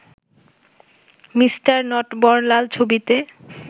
mister Natwarlal ছবিতে